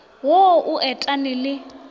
wo o et ane le